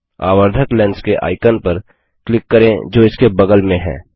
आवर्धक lens के icon पर click करें जो इसके बगल में है